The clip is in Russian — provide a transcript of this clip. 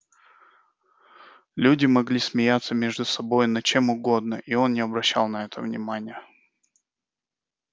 люди могли смеяться между собой над чем угодно и он не обращал на это внимания